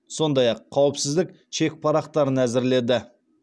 сондай ақ қауіпсіздік чек парақтарын әзірледі